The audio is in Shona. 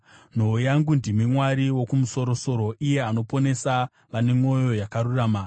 Nhoo yangu ndimi Mwari Wokumusoro-soro, iye anoponesa vane mwoyo yakarurama.